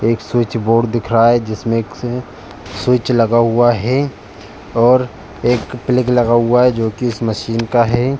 एक switch board दिख रहा है जिसमें एक स्विच लगा हुआ है और एक प्लेग लगा हुआ है जो कि इस मशीन का है।